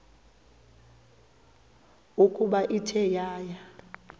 ukuba ithe yaya